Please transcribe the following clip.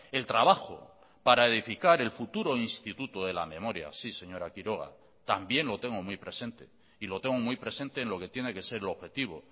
el trabajo para edificar el futuro instituto de la memoria sí señora quiroga también lo tengo muy presente y lo tengo muy presente en lo que tiene que ser el objetivo